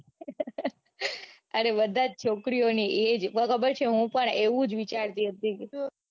અરે બધા જ છોકરીઓની એજ હું પણ એવું જ વિચારતી હતી.